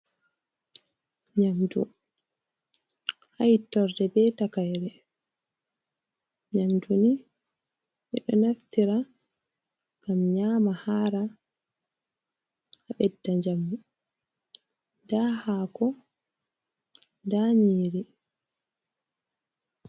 Nyamdu ha hittorde be takaire. Nyamdu ni ɓe ɗo naftira ngam nyama hara, a ɓedda njamu. Nda hako nda nyiri.